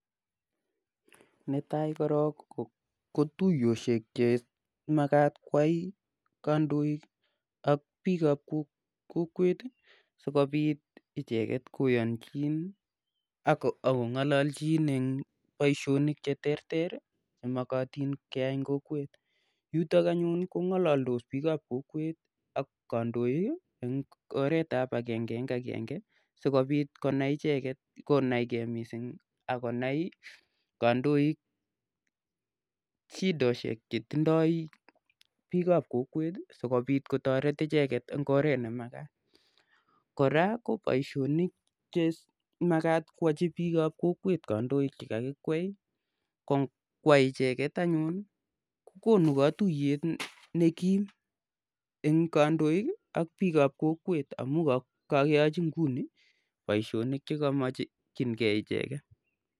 Netai korok ko tuyoshek che makat koyai kandoik ak piik ap kokwet si kopit icheget koyanchin ak kong'alachin eng' poishonik che terter che makatin keyai eng' kokwet yutok anyun kong'alados piik ap kokwet ak kandoik eng' oret ap agenge eng' agenge si kopit konaige missing' ako nai kandoik shideshek che tindai piik ap kokwet asikopit kotaret icheget eng' oret ne makat. Kora ko poishonik che makat koyachi piik ap kokwet kandoik che kakikwei ko ngoyai icheget anyun ko konu katuyet ne kim eng' kandoik ak piik ap kokwet amu kakeyachi nguni poishonik che ka makchingei icheget.